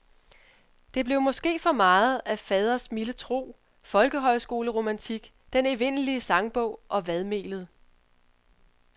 Det blev måske for meget af faders milde tro, folkehøjskoleromantik, den evindelige sangbog og vadmelet.